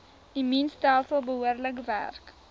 immuunstelsel behoorlik werk